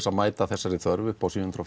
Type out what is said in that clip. að mæta þessari þörf uppá sjö hundruð